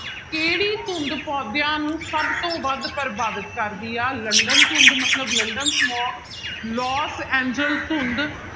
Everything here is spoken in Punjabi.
ਕਿਹੜੀ ਧੁੰਦ ਪੌਦਿਆਂ ਨੂੰ ਸਭ ਤੋਂ ਵੱਧ ਪ੍ਰਭਾਵਿਤ ਕਰਦੀ ਹੈ ਲੰਡਨ ਧੁੰਦ ਮਤਲਬ ਲੰਡਨ smog ਲੋਸ ਐਂਜਲ ਧੁੰਦ